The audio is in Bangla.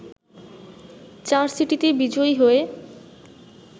চার সিটিতে বিজয়ী হয়ে